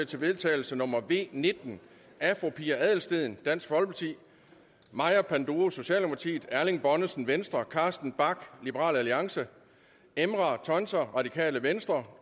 til vedtagelse nummer v nitten af fru pia adelsteen maja panduro erling bonnesen carsten bach emrah tuncer